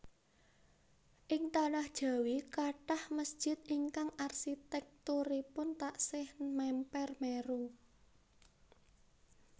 Ing tanah Jawi kathah mesjid ingkang arsitèkturipun taksih mèmper Meru